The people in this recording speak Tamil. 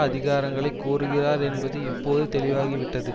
அதிகாரங்களை கோருகிறார் என்பது இப்போது தெளிவாகிவிட்டது